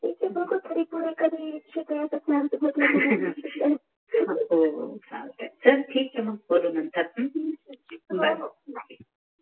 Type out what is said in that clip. त्याच्यामधे खरिखुरि एखादि शिकन्याचा प्लॅन असला तर हो सांगते चल ठिक आहे मंग बोलु नतर अ हो हो